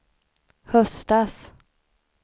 höstas